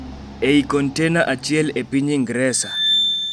ei kontena achiel e piny Ingresa.